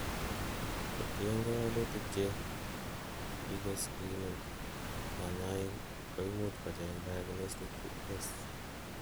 kotiengei walutik che kogiscreenen konyoik koimuch kocheng diagnostic tests